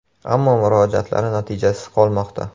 Ammo murojaatlari natijasiz qolmoqda.